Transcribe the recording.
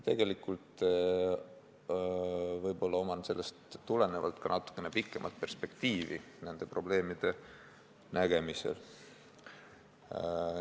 Tegelikult võib mul sellest tulenevalt olla ka natukene pikem perspektiiv nende probleemide nägemisel.